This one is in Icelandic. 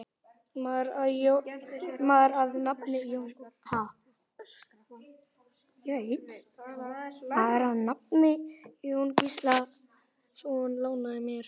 Maður að nafni Jón Gíslason lánaði mér.